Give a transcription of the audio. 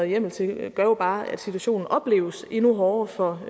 hjemmel til gør jo bare at situationen opleves endnu hårdere for